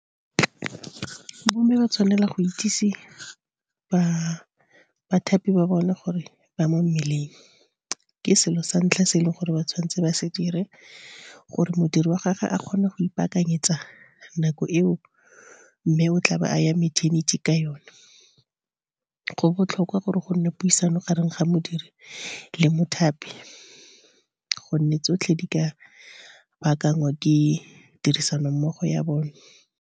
Bo mme ba tshwanela go itsise bathapi ba bone gore ba mo mmeleng. Ke selo sa ntlha se e leng gore ba tshwanetse ba se dire, gore modiri wa gagwe a kgone go ipakanyetsa nako eo mme o tlabe a ya meternity ka yone. Go botlhokwa gore gonne puisano gareng ga modiri le mothapi, gonne tsotlhe di ka bakangwa ke tirisano mmogo ya bone.